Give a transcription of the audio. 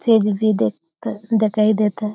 चीज भी दिखता दिखाई देता --